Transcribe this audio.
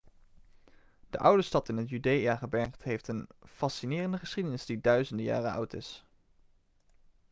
de oude stad in het judeagebergte heeft een fascinerende geschiedenis die duizenden jaren oud is